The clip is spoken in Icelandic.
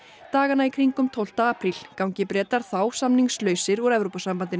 dagana í kringum tólfta apríl gangi Bretar þá samningslausir úr Evrópusambandinu